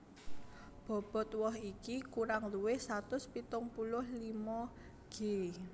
Bobot woh iki kurang luwih satus pitung puluh limo g